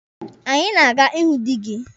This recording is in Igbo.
Anyị na-aga ịhụ dị gị.